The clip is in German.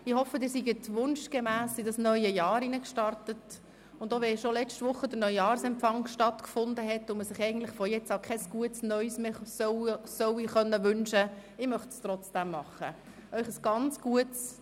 Ich hoffe, Sie sind wunschgemäss in das neue Jahr gestartet, und auch wenn letzte Woche bereits der Neujahrsempfang stattgefunden hat und man sich von nun an kein «gutes neues Jahr» mehr wünschen soll, möchte ich es dennoch tun: